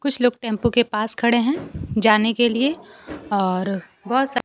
कुछ लोग टेंपू के पास खड़े हैं जाने के लिए और बहुत सारे--